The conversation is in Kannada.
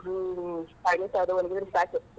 ಹ್ಮ್‌ ಒಣಗಿದ್ರ್ ಸಾಕ್.